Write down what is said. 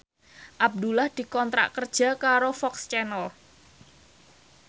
Abdullah dikontrak kerja karo FOX Channel